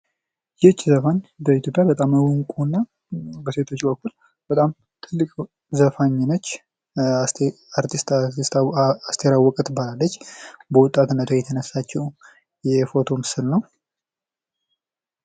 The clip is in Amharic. ይህች ዘፋኝ በኢትዮጵያ በጣም እውቅ እና በሴቶች በኩል በጣም ጥልቅ ዘፋኝ ነች:: አርቲስት አስቴር አወቀ ትባላለች በወጣትነቷ የተነሳችው የፎቶ ምስል ነው::